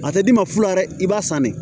A tɛ d'i ma fula dɛ i b'a sannen